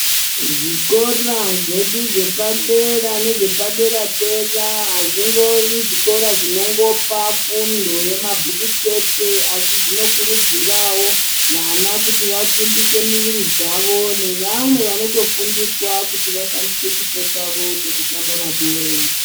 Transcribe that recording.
Zvikora zvedu zvepadera nezvepadera dera ,azvingovi zvikora zvinongopa fundo yemabhuku chete asi zvinokurudzirawo vana kuti vasimbise miviri dzavo ,nevamwe vanotofundiswa kuti vashandise chipo chavo chekutamba mabhora.